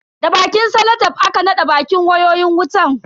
Da bakin salatef aka naɗa bakin wayoyin wutan.